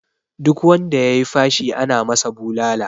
Duk wanda ya yi fashi ana masa bulala